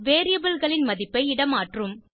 variable களின் மதிப்பை இடமாற்றும்